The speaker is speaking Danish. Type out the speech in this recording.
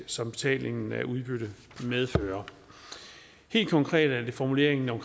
som betalingen af udbytte medfører helt konkret er det formuleringen om